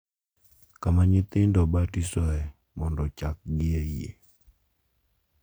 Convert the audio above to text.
Kama nyithindo ibatisoe mondo ochakgi e yie .